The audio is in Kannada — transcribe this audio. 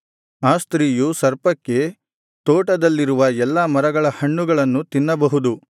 ಆ ಸ್ತ್ರೀಯು ಸರ್ಪಕ್ಕೆ ತೋಟದಲ್ಲಿರುವ ಎಲ್ಲಾ ಮರಗಳ ಹಣ್ಣುಗಳನ್ನು ತಿನ್ನಬಹುದು